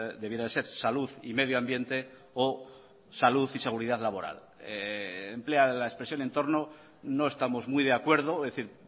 debiera de ser salud y medio ambiente o salud y seguridad laboral emplean la expresión entorno no estamos muy de acuerdo es decir